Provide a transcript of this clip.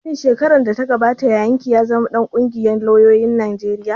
Shin shekarar da ta gabata yayan ki ya zama ɗan ƙungiyar lauyoyin Najeriya